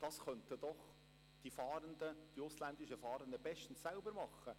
Das könnten doch die ausländischen Fahrenden bestens selbst tun.